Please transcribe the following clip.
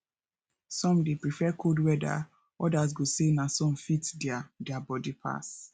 some dey prefer cold weather others go say na sun fit their their body pass